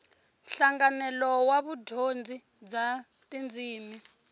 nhlanganelo wa vudyondzi bya tindzimi